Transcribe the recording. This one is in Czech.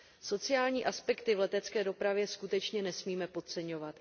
Sociální aspekty v letecké dopravě skutečně nesmíme podceňovat.